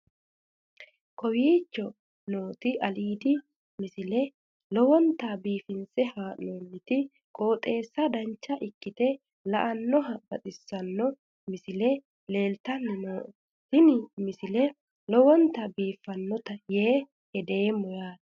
kowicho nooti aliidi misile lowonta biifinse haa'noonniti qooxeessano dancha ikkite la'annohano baxissanno misile leeltanni nooe ini misile lowonta biifffinnote yee hedeemmo yaate